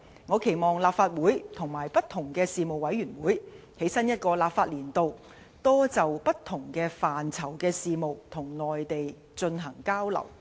我期望立法會和不同的事務委員會，在新一個立法年度，多就不同範疇的事務與內地進行交流。